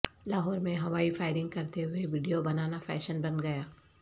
لاہور میں ہوائی فائرنگ کرتے ہوئے ویڈیو بنانا فیشن بن گیا